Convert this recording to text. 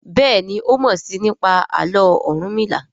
Béèni o mọ sii nípa Àló̩ Orunmila.